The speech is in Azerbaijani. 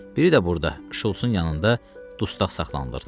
Biri də burada, Şults-un yanında dustaq saxlanılırdı.